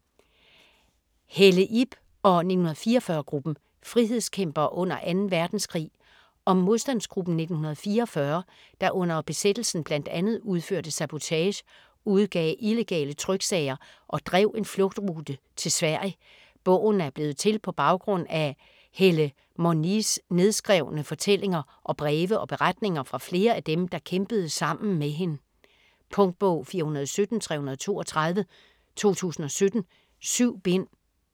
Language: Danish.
Helle, Ib og "1944"-gruppen: frihedskæmpere under 2. verdenskrig Om modstandsgruppen "1944", der under besættelsen bl.a. udførte sabotage, udgav illegale tryksager og drev en flugtrute til Sverige. Bogen er blevet til på baggrund af Helle Monies nedskrevne fortællinger, og breve og beretninger fra flere af dem, der kæmpede sammen med hende. Punktbog 417332 2017. 7 bind.